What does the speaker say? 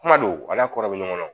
Kuma don a n'a kɔrɔ bɛ ɲɔgɔn kɔnɔ